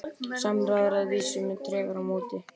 Samræður að vísu með tregara móti.